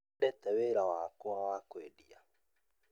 Nĩ nyendete wĩra wakwa wa kũendia